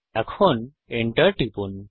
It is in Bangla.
এখন Enter টিপুন